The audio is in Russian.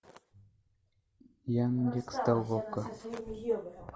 яндекс толока